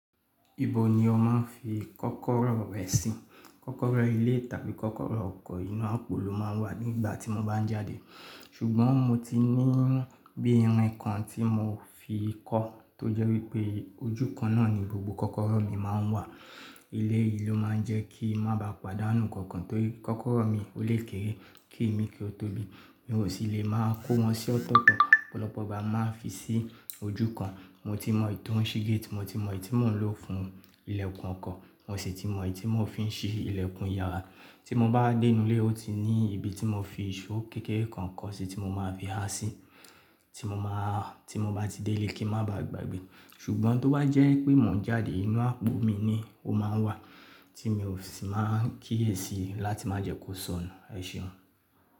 Ibo ni ọ mán fi kọ́kọ́rọ́ rẹ̀ sí? Kọ́kọ́rọ́ ilé tàbí kọ́kọ́rọ́ ọkọ̀ inú àpò ló máa ń wà nígbà tí mo bá ń jáde. Ṣùgbọ́n mo ti ní bí i irin kan tí mo fi kọ́ tó jẹ́ wípé ojúkan náà ni gbogbo kọ́kọ́rọ́ mi máa ń wà. Ilé yìí ló máa ń jẹ́ kí má ba pàdánù kankan torí kọ́kọ́rọ́ mi ó lékèré kí èmi kí ó tó bí i. Mi ò sì lè máa kó wọn sí ọ̀tọ̀tọ̀ pọ̀lọpọ̀ ọgbà máa fi sí ojúkan. Ohun tí mo mọ̀ tó ń ṣílé tí mo ti mọ̀ èyí tí mò ń lò fún ilẹ̀kùn ọkọ̀, mọ̀ sí tí mọ̀ èyí tí mò ń fi ń ṣí ilẹ̀kùn yàrá. Tí mo bá dé inú ilé ó ti ní ibi tí mo fi ìṣó kékeré kan kó si tí mo máa fi ha sí, tí mo máa, tí mo bá ti dé ilé kí ń má ba gbàgbé. Ṣùgbọ́n tó bá jẹ́ pé mò ń jáde inú àpò mi ni ó máa ń wà tí mi ò sì máa ń kíyèsi i láti má jẹ́ kó sọnù. Ẹ ṣeun.